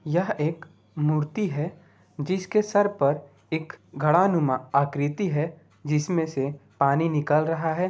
यह एक मूर्ति है जिसके सर पर एक घड़ानुमा आकृति है जिसमें से पानी निकल रहा है।